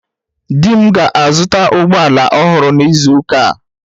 Di m ga-azụta ụgbọ ala ọhụrụ n'izu ụka a